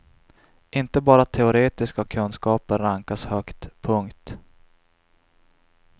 Inte bara teoretiska kunskaper rankas högt. punkt